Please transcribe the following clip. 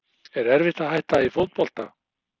Er erfitt að hætta í fótbolta?